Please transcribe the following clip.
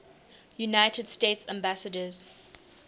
united states ambassadors